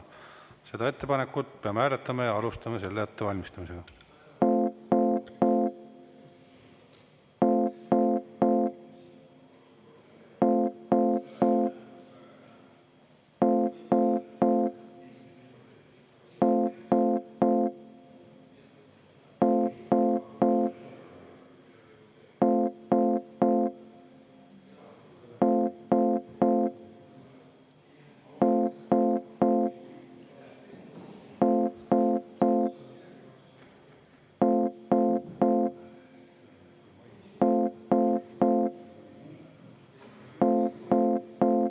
Seda ettepanekut peame hääletama ja alustame selle ettevalmistamisega.